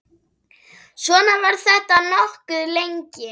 Svona var þetta nokkuð lengi.